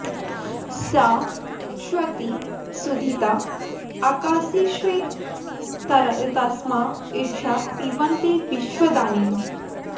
स इत्क्षे॑ति॒ सुधि॑त॒ ओक॑सि॒ स्वे तस्मा॒ इळा॑ पिन्वते विश्व॒दानी॑म्